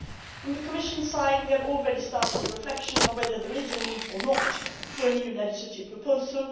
From the Commissionʼs side we have already started the reflection on whether there is a need or not for a new legislative proposal.